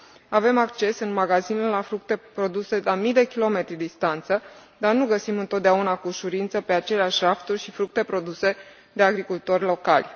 Avem acces în magazine la fructe produse la mii de kilometri distanță, dar nu găsim întotdeauna cu ușurință pe aceleași rafturi și fructe produse de agricultori locali.